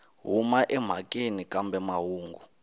u huma emhakeni kambe mahungu